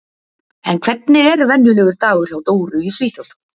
En hvernig er venjulegur dagur hjá Dóru í Svíþjóð?